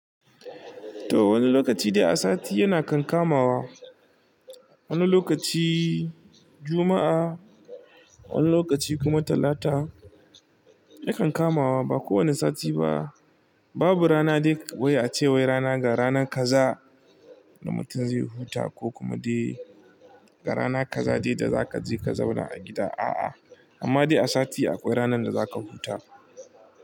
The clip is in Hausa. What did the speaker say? To wani lokaci dai a sati yana kan kamawa, wani lokaci Juma'a, wani lokaci kuma Talata yakan kamawa ba kowane sati ba. Babu rana dai wai ace wai rana ga ranan kaza da mutum zai huta ko kuma dai ga rana kaza dai da zaka je ka zauna a gida. A'a amma dai a sati akwai ranan da zaka huta.